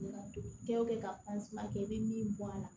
Kɛ o kɛ ka kɛ i bɛ min bɔ a la